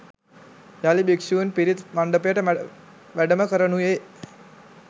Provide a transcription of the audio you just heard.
යළි භික්ෂූන් පිරිත් මණ්ඩපයට වැඩම කරනුයේ